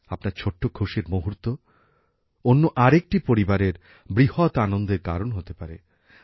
আপনার ছোট্ট খুশির মুহূর্ত অন্য আরেকটি পরিবারের বৃহৎ আনন্দের কারণ হতে পারে